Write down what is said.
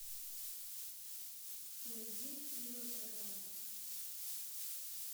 найди фильмы про зомби